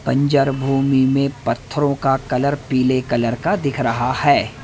बंजर भूमि में पत्थरों का कलर पीले कलर का दिख रहा है।